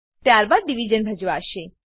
ત્યારબાદ ડીવીઝન ભજવાશે